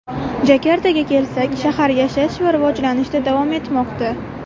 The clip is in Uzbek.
Jakartaga kelsak, shahar yashash va rivojlanishda davom etmoqda.